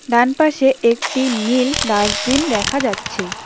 ডান পাশে একটি নীল ডাসবিন দেখা যাচ্ছে।